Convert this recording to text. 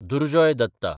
Durjoy Datta